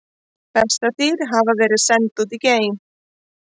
Bessadýr hafa verið send út í geim!